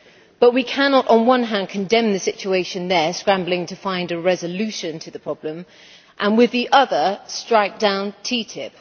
But we cannot on the one hand condemn the situation there, scrambling to find a resolution to the problem, and, on the other, strike down TTIP.